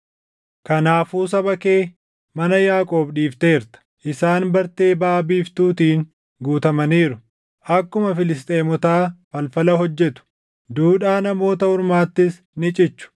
Kanaafuu saba kee, mana Yaaqoob dhiifteerta. Isaan bartee Baʼa Biiftuutiin guutamaniiru; akkuma Filisxeemotaa falfala hojjetu; duudhaa namoota ormaattis ni cichu.